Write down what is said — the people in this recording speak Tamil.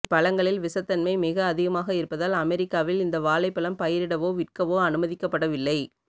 இப்பழங்களில் விஷத்தன்மை மிக அதிகமாக இருப்பதால் அமெரிக்காவில் இந்த வாழைப்பழம் பயிரிடவோ விற்கவோ அனுமதிக்கப்படவில்லை